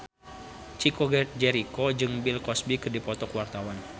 Chico Jericho jeung Bill Cosby keur dipoto ku wartawan